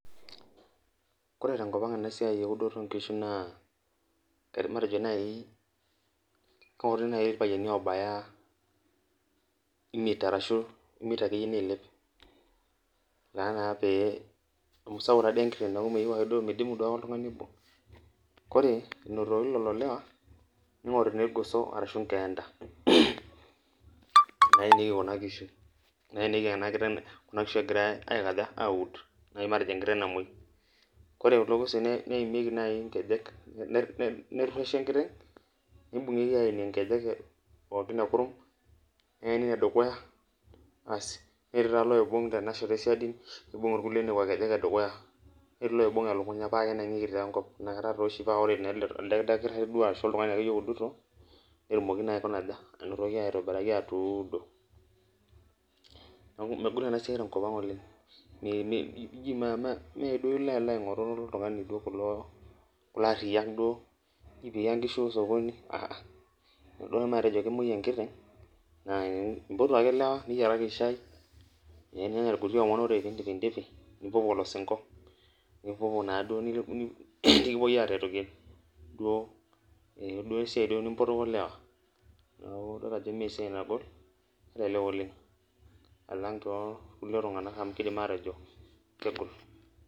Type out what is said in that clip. Ore tenkop ang enasiai eudoto onkishu naa, matejo nai keoti nai irpayiani obaya imiet arashu imiet akeyie niilep. Tanaa pee amu sapuk tadi enkiteng neku meyieu ake duo midimu oltung'ani obo. Kore inotoki lelo lewa, ning'oruni irgoso arashu inkeenta. Naenieki kuna kishu. Naenieki enkiteng egirai aikaja, aud nai matejo enkiteng namoi. Kore kulo goso neimieki nai inkejek, nerrueshi enkiteng, nibung'ieki aenie inkejek pookin ekurum, neeni inedukuya, aas netii taa loibung' tenashoto esiadi, nibung' irkulie nekua kejek edukuya. Netii loibung' elukunya, pakenang'ieki taa enkop. Nakata toshi pa ore na ele dakitari duo ashu oltung'ani akeyie oudito, netumoki naa aikuna aja, anotoki aitobiraki atuudo. Neeku megol enasiai tenkop ang oleng, meduo ilo alo aing'oru oltung'ani duo kulo kulo arriyiak duo, ji piya nkishu osokoni a'a. Teneku duo matejo kemoi enkiteng, na impotu ake lewa, niyiaraki shai, ninyanya irkuti omon ore pidipidipi, nipuopuo olosinko. Nipuopuo naduo nikipuo aretoki duo esiai duo nimpotoko lewa. Neeku idol ajo mesiai nagol, kelelek oleng, alang torkulie tung'anak amu kidim atejo kegol.